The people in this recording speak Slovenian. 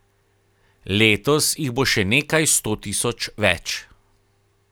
Letos jih bo še nekaj sto tisoč več.